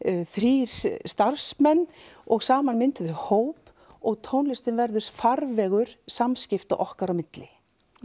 þrír starfsmenn og saman myndum við hóp og tónlistin verður farvegur samskipta okkar á milli